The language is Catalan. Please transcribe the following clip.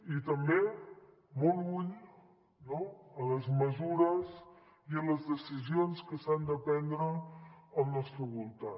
i també molt ull no amb les mesures i a les decisions que s’han de prendre al nostre voltant